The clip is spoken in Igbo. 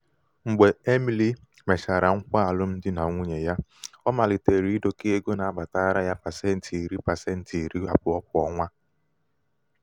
mgbe emily mechara nkwa alụmdi na nwunye ya ọ malitere idokọ ego na-abatara ya pasenti iri pasenti iri abụọ kwa ọnwa.